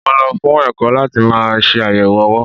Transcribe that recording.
Mo lọ fún ẹ̀kọ́ láti máa ṣe àyẹ̀wò owó.